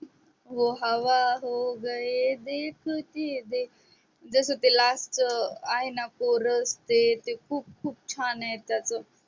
वो हवा हो गये देखते देखते जैसे जस ते last च आहे ना कोरस ते खूप छान आहे त्याच